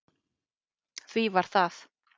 Því var það